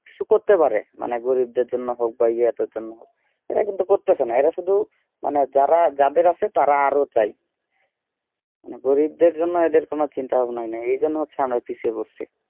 কিছু করতে পারে মানে গরিবদের জন্য হোক বা ইয়াদের জন্য হোক এরা কিন্তু করতেছে না এরা শুধু মানে যারা যাদের আছে তারা আরো চাই গরিবদের জন্য এদের কোন চিন্তা ভাবনাই নাই এই জন্য হচ্ছে অনেক পিছিয়ে পড়েছি